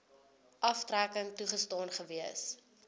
aftrekking toegestaan gewees